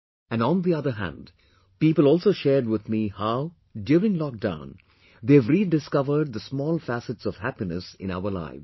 And, on the other hand, people also shared with me how, during lockdown, they have rediscovered the small facets of happiness in our lives